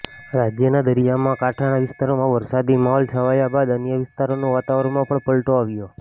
રાજ્યના દરિયા કાંઠાના વિસ્તારોમાં વરસાદી માહોલ છવાયા બાદ અન્ય વિસ્તારોના વાતાવરણમાં પણ પલટો આવ્યો